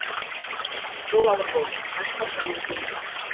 жол ауыр болды аш қасқырмен теңбіз